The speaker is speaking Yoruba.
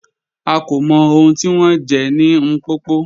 À kò mọ̀ ọ̀hun tí wọn jẹ̀ ni Mpopo